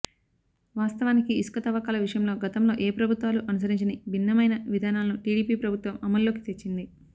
వాస్తవానికి ఇసుక తవ్వకాల విషయంలో గతంలో ఏ ప్రభుత్వాలు అనుసరించని భిన్నమైన విధానాలను టీడీపీ ప్రభుత్వం అమల్లోకి తెచ్చింది